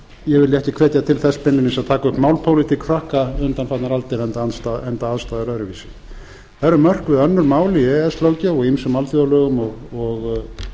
ég vilji baki hvetja til þess beinlínis að taka upp málpólitík frakka undanfarnar aldir enda aðstæður öðruvísi það eru mörkuð önnur mál í e e s löggjöf og ýmsum alþjóðalögum og